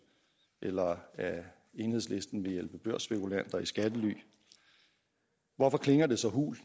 eller at enhedslisten vil hjælpe børsspekulanter i skattely hvorfor klinger det så hult